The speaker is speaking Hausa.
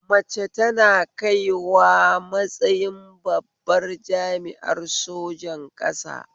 Mace tana kaiwa matsayin babbar jami'ar sojan ƙasa